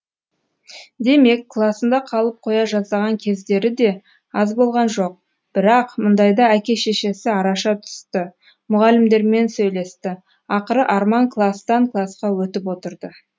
демек класында қалып қоя жаздаған кездері де аз болған жоқ бірақ мұндайда әке шешесі араша түсті мұғалімдермен сөйлесті ақыры арман кластан класқа өтіп отырды